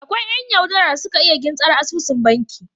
Akwai yan yau dara da suka iya gintsar asusun banki